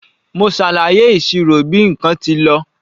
Mo ṣàlàyé ìṣirò bí nǹkan tí lọ.